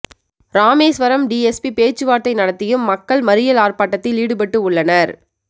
Rameswaram DSP பேச்சுவார்த்தை நடத்தியும் மக்கள் மறியல் ஆர்ப்பாட்டத்தில் ஈடுபட்டு உள்ளனர்